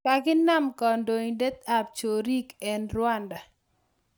Kakina kandoindet ab choriik eng Rwanda